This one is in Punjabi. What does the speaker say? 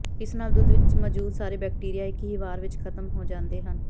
ਇਸ ਨਾਲ ਦੁੱਧ ਵਿੱਚ ਮੌਜੂਦ ਸਾਰੇ ਬੈਕਟੀਰੀਆ ਇੱਕ ਹੀ ਵਾਰ ਵਿੱਚ ਖਤਮ ਹੋ ਜਾਂਦੇ ਹਨ